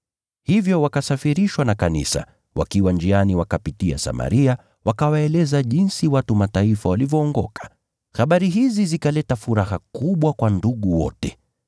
Hivyo wakasafirishwa na kanisa, wakiwa njiani wakapitia nchi ya Foinike na Samaria, wakawaeleza jinsi watu wa Mataifa walivyookoka. Habari hizi zikaleta furaha kubwa kwa ndugu wote.